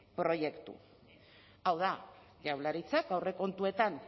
proiektu hau da jaurlaritzak aurrekontuetan